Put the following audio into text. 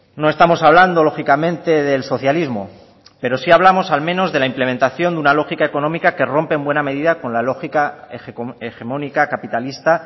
no estamos hablando lógicamente del socialismo pero sí hablamos al menos de la implementación de una lógica económica que rompe en buena medida con la lógica hegemónica capitalista